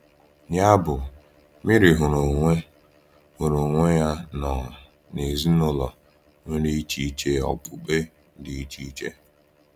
Yabụ, Meri hụrụ onwe hụrụ onwe ya nọ n’ezinụlọ nwere echiche okpukpe dị iche iche.